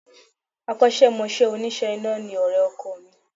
Akọ́sẹ́mọsẹ́ òníṣe iná ni ọ̀rẹ́ ọkọ mi